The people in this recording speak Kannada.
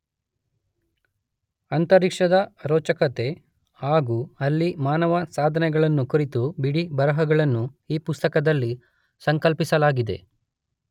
ಅಂತರಿಕ್ಷದ ರೋಚಕತೆ ಹಾಗೂ ಅಲ್ಲಿ ಮಾನವನ ಸಾಧನೆಗಳನ್ನು ಕುರಿತ ಬಿಡಿಬರಹಗಳನ್ನು ಈ ಪುಸ್ತಕ ದಲ್ಲಿ ಸಂಕಲಿಸಲಾಗಿದೆ.